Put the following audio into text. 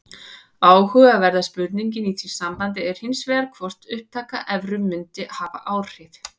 Áhugaverða spurningin í því sambandi er hins vegar hvort upptaka evru mundi hafa áhrif.